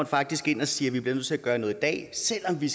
faktisk ind og siger vi bliver nødt til at gøre noget i dag selv om vi